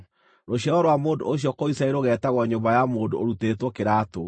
Rũciaro rwa mũndũ ũcio kũu Isiraeli rũgeetagwo Nyũmba ya Mũndũ Ũrutĩtwo Kĩraatũ.